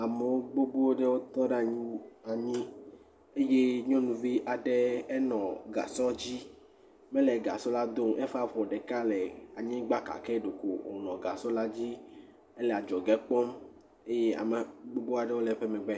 Ame gbogbo ɖewo tɔ ɖe anyi eye nyɔnuvi aɖe ele gasɔ dzi, mele gasɔ la do o, gake eƒe afɔ ɖeka le anyigba gake ɖeko wònɔ gasɔ la dzi henɔ adzɔge kpɔm eye ame gbogbo aɖewo le eƒe megbe.